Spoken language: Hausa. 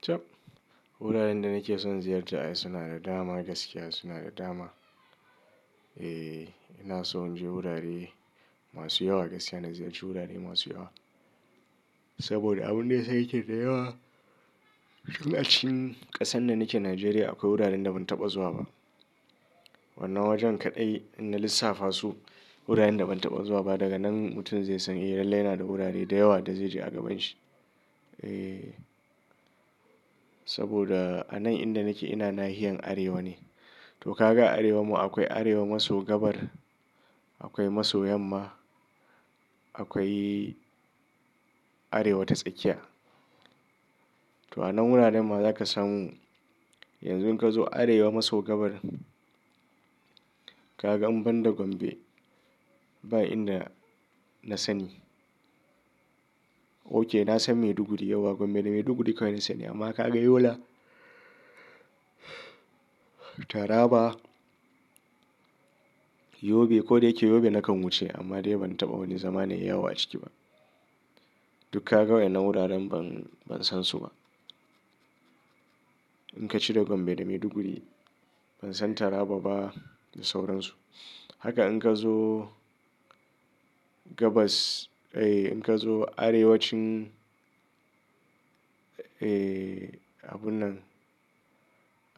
Chab! Wuraren da nake son ziyarta suna da dama gaskiya suna da dama. Eh, ina son je wurare masu yawa gaskiya na ziyarci wurare masu yawa. Saboda abun da ya sa yake da yawa lokacin ƙasan da nake Nijeriya akwai wuraren da ban taɓa zuwa ba. Wannan wajen kaɗai ina lissafa su wuraren da ban taɓa zuwa ba daga nan mutum zai san eh lallai yana da wurare da yawa da zai je a gaban shi. Eh, saboda a nan inda nake ina nahiyar Arewa ne. To ka ga Arewan ma akwai Arewa maso gabar, akwai maso yamma, akwai Arewa ta tsakiya. To a nan wuraren ma za ka samu yanzu in ka zo Arewa maso gabar ka gan in banda Gombe ba inda na sani. Ok, na san Maiduguri yauwa Gombe da Maiduguri kawai na sani amma ka ga Yola, Taraba, Yobe ko da yake Yobe na kan wuce amma dai ban taɓa wani zamanai yawa a ciki ba. Duk ka ga wayan nna wuraren ban, ban san su ba. In ka cire Gombe da Maiduguri ban san Taraba ba da sauransu. Haka in ka zo gabas, eh in ka zo Arewacin, eh abun nan